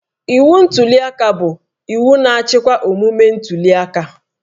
Iwu ntuliaka bụ iwu na-achịkwa omume ntuliaka